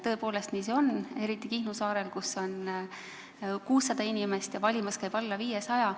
Tõepoolest, nii see on, eriti Kihnu saarel, kus on 600 inimest ja valimas käib alla 500.